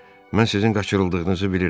Mən sizin qaçırıldığınızı bilirəm.